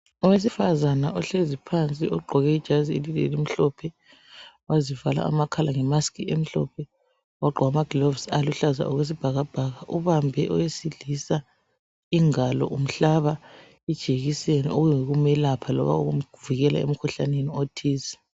Owesifazana ohlezi phansi ugqoke ijazi elimhlophe, wazivala amakhala ngemask emhlophe, wagqoka ama gloves oluhlaza okwesibhakabhaka. Ubambe owesilisa ingalo, umhlaba ijekiseni ukuze ukumelapha loba ukumvikela kumkhuhlane othize.